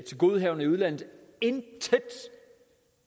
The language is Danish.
tilgodehavender i udlandet intet